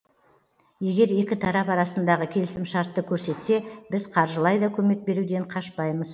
егер екі тарап арасындағы келісімшартты көрсетсе біз қаржылай да көмек беруден қашпаймыз